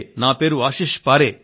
నా పేరు ఆశీస్ పారే